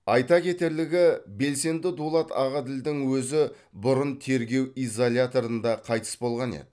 айта кетерлігі белсенді дулат ағаділдің өзі бұрын тергеу изоляторында қайтыс болған еді